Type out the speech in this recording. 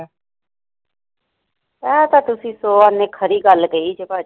ਇਹ ਤਾਂ ਤੁਸੀ ਸੋ ਆਨੇ ਖਰੀ ਗੱਲ ਕਹੀ ਜੇ ਭਾਜੀ